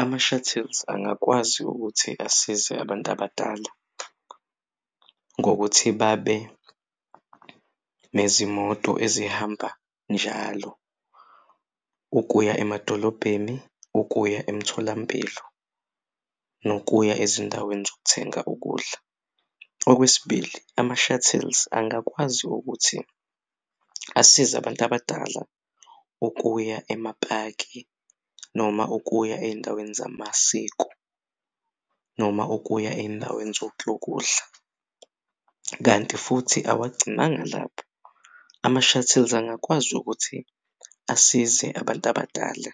Ama-shuttles angakwazi ukuthi asize abantu abadala ngokuthi babe nezimoto ezihamba njalo ukuya emadolobheni, ukuya emtholampilo nokuya ezindaweni zokuthenga ukudla. Okwesibili, ama-shuttles angakwazi ukuthi asize abantu abadala ukuya emapaki noma ukuya ey'ndaweni zamasiko noma ukuya ey'ndaweni zokudla kanti futhi awagcinanga lapho. Ama-shuttles angakwazi ukuthi asize abant' abadala